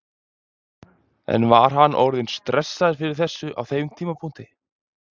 En var hann orðinn stressaður fyrir þessu á þeim tímapunkti?